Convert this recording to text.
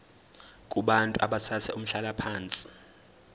kubantu abathathe umhlalaphansi